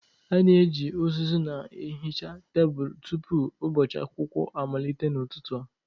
A na-eji uzuzu na-ehicha tebụl tupu ụbọchị akwụkwọ amalite n'ụtụtụ a.